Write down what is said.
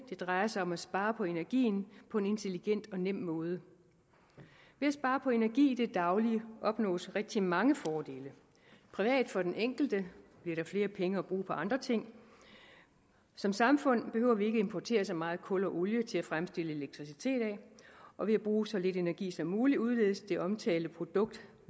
det drejer sig om at spare på energien på en intelligent og nem måde ved at spare på energien i det daglige opnås rigtig mange fordele privat for den enkelte bliver der flere penge at bruge på andre ting som samfund behøver vi ikke importere så meget kul og olie til at fremstille elektricitet af og ved at bruge så lidt energi som muligt udledes det omtalte produkts